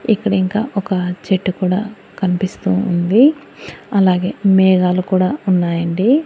ఇక్కడ ఇంకా ఒక చెట్టు కూడా కనిపిస్తూ ఉంది అలాగే మేఘాలు కూడా ఉన్నాయి అండి.